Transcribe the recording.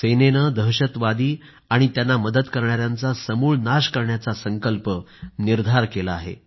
सेनेनं दहशतवादी आणि त्यांना मदत करणायांचा समूळ नाश करण्याचा संकल्प निर्धार केला आहे